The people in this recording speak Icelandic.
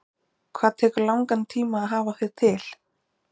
Hvað tekur langan tíma að hafa þig til?